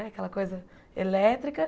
Né aquela coisa elétrica.